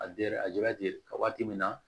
A waati min na